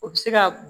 O bɛ se ka